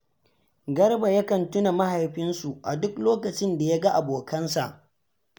Garba yakan tuna mahaifinsu, a duk lokacin da ya ga abokansa